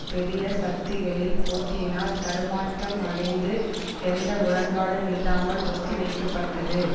பெரிய சக்திகளில் போட்டியினால் தடுமாற்றம் அடைந்து எந்த உடன்பாடும் இல்லாமல் ஒத்தி வைக்கப்பட்டது